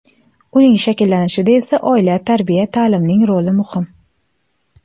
Uning shakllanishida esa oila, tarbiya, ta’limning roli muhim.